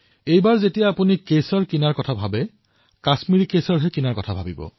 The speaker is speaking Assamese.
আগলৈ যেতিয়া আপোনালোকে কেশৰ ক্ৰয় কৰিবলৈ বিচাৰে তেন্তে কাশ্মীৰৰ কেশৰহে ক্ৰয় কৰিব